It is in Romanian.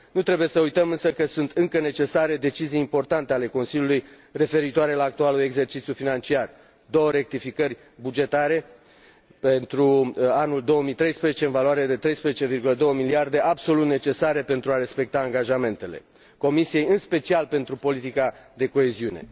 Nu trebuie să uităm, însă, că sunt încă necesare decizii importante ale Consiliului referitoare la actualul exercițiu financiar două rectificări bugetare pentru anul 2013, în valoare de 13,2 miliarde, absolut necesare pentru a respecta angajamentele Comisiei, în special pentru politica de coeziune.